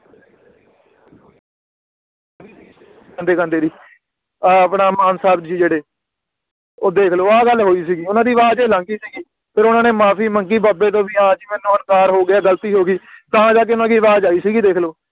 ਗਾਂਦੇ ਗਾਂਦੇ ਦੀ ਆ ਆਪਣਾ ਮਾਨ ਸਾਹਿਬ ਜੀ ਜਿਹੜੇ ਓ ਦੇਖ ਲੋ ਆ ਗੱਲ ਹੋਈ ਸੀਗੀ ਓਹਨਾ ਦੀ ਆਵਾਜ਼ ਹੀ ਅਲੱਗ ਸੀਗੀ ਫਿਰ ਓਹਨਾ ਨੇ ਮਾਫੀ ਮੰਗੀ ਬਾਬੇ ਤੋਂ ਵੀ ਹਾਂ ਜੀ ਮੈਨੂੰ ਹੰਕਾਰ ਹੋ ਗਿਆ ਗ਼ਲਤੀ ਹੋਗੀ ਤਾ ਜਾਕੇ ਓਹਨਾ ਦੀ ਆਵਾਜ਼ ਆਈ ਸੀਗੀ ਦੇਖ ਲੋ